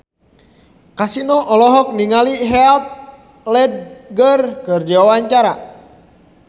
Kasino olohok ningali Heath Ledger keur diwawancara